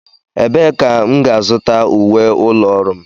Ebee ka m ga-azụta uwe ụlọ ọrụ m?